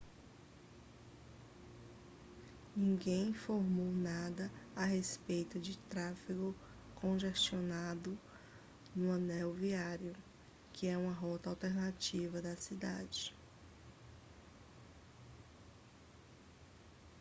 ninguém informou nada a respeito de tráfego congestionado no anel viário que é uma rota alternativa da cidade